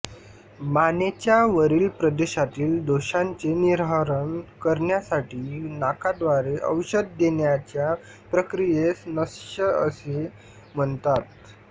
मानेच्या वरील प्रदेशातील दोषांचे निर्हरण करण्यासाठी नाकाद्वारे औषध देण्याच्या प्रक्रियेस नस्य असे म्हणतात